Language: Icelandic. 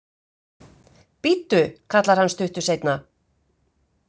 Bíddu, kallar hann stuttu seinna.